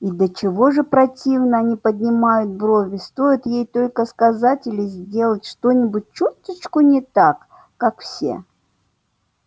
и до чего же противно они поднимают брови стоит ей только сказать или сделать что-нибудь чуточку не так как все